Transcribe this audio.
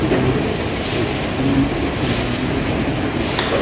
এখানে বহু পুরোনো একটি মন্দিরের ছবি দেখা যাচ্ছে।